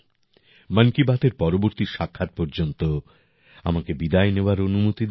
মন কি বাতের পরবর্তী সাক্ষাৎ পর্যন্ত আমাকে বিদায় নেওয়ার অনুমতি দিন